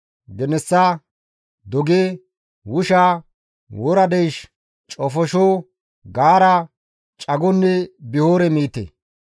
genessa, doge, wusha, wora deysh, cofosho, gaara, cagonne bihore miite.